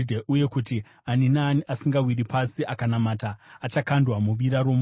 uye kuti ani naani asingawiri pasi akanamata achakandwa muvira romoto.